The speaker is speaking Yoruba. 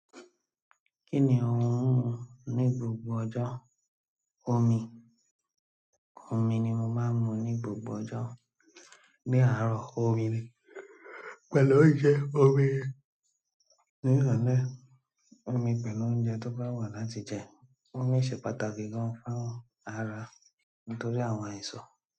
Kí ni òun ń mu ní gbogbo ọjọ́? Omi. Omi ni mo máa ń mu ní gbogbo ọjọ́. Ní àárọ̀, omi pẹ̀lú oúnjẹ, omi, ní, ìrọ̀lẹ́ omi pẹ̀lú oúnjẹ tó bá wà láti jẹ. Omi ṣe pàtàkì gan-an fún ara nítorí àwọn àìsàn.